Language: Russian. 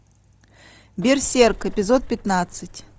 берсерк эпизод пятнадцать